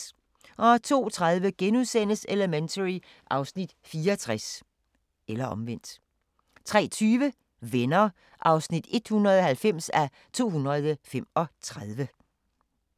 02:30: Elementary (Afs. 64)* 03:20: Venner (190:235)